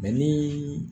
ni